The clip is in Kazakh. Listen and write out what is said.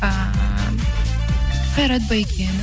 ііі қайрат байкенов